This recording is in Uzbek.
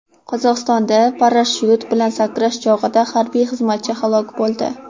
Qozog‘istonda parashyut bilan sakrash chog‘ida harbiy xizmatchi halok bo‘ldi.